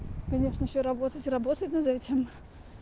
конечно ещё работать и работать над этим